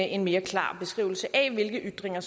en mere klar beskrivelse af hvilke ytringer